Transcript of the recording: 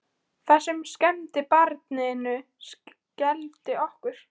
Það sem skemmti barninu skelfdi okkur.